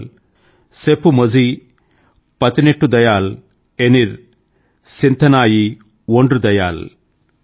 ఇవాల్ సెప్పుమొజ్హి పదినేటుదయాల్ ఎనిల్ సింధనై ఒండ్రుదయాల్